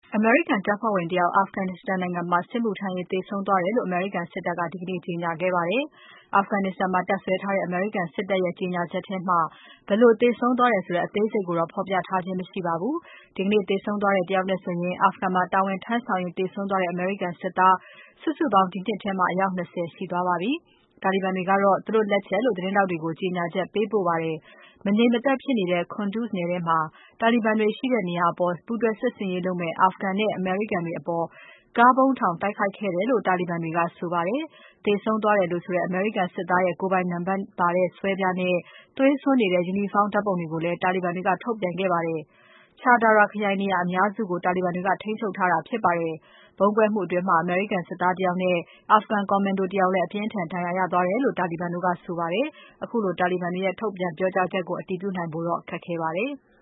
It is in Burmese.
အမေရိကန်တပ်ဖွဲ့ဝင် တယောက် Afghanistan နိုင်ငံမှာ စစ်မှုထမ်းရင်း သေဆုံးသွားတယ်လို့ အမေရိကန်စစ်တပ်က ဒီကနေ့ ကြေညာခဲ့ပါတယ်။ Afghanistan မှာတပ်စွဲထားတဲ့ အမေရိကန်စစ်တပ်ရဲ့ ကြေညာချက်မှာ ဘယ်လိုသေဆုံးသွားတဲ့ အသေးစိတ်ကိုတော့ ဖော်ပြထားခြင်း မရှိပါဘူး။ ဒီကနေ့ သေဆုံးသွားတဲ့ တယောက်နဲ့ဆိုရင် Afghanistan မှာတာဝန်ထမ်းဆောင်ရင်း သေဆုံးသွားတဲ့ အမေရိကန် စစ်သား စုစုပေါင်း ဒီနှစ်ထဲမှာ အယောက် ၂၀ ရှိသွားပါပြီ။ တာလီဘန်တွေကတော့ သူတို့ လက်ချက်လို့ သတင်းထောက်တွေကို ကြေညာချက် ပေးပို့ခဲ့ပါတယ်။ မငြိမ်မသက်ဖြစ်နေတဲ့ Kunduz ထဲက တာလီဘန်တွေရှိတဲ့နေရာကို ပူးတွဲစစ်ဆင်ရေးလုပ်မယ့် Afghan နဲ့ အမေရိကန်တွေအပေါ် ကားဗုံးထောင် တိုက်ခိုက်ခဲ့တယ်လို့ တာလီဘန်တွေက ဆိုပါတယ်။ သေဆုံးသွားတယ်လို့ဆိုတဲ့ အမေရိကန် စစ်သားရဲ့ ကိုယ်ပိုင်နံပါတ်ပါတဲ့ ဆွဲပြားနဲ့ သွေးစွန်းနေတဲ့ ယူနီဖောင်းဓါတ်ပုံတွေကိုလည်း တာလီဘန်တွေက ထုတ်ပြန်ခဲ့ပါတယ်။ Char Dara ခရိုင်နေရာအများစုကို တာလီဘန်တွေက ထိန်းချုပ်ထားတာဖြစ်ပါတယ်။ ဗုံးကွဲမှုအတွင်း အမေရိကန်စစ်သား တယောက်နဲ့ Afghan ကော်မန်ဒို တယောက်လည်း အပြင်းအထန် ဒဏ်ရာရသွားတယ်လို့ တာလီဘန်တို့ကဆိုပါတယ်။ ခုလိုတာလီဘန်တွေရဲ့ ထုတ်ပြန် ပြောကြားချက်ကို အတည်ပြုနိုင်ဖို့တော့ ခက်ခဲပါတယ်။